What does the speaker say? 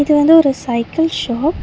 இது வந்து ஒரு சைக்கிள் ஷாப் .